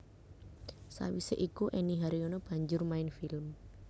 Sawisé iku Enny Haryono banjur main film